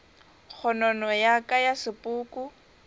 kgonono ya ka ya sepoko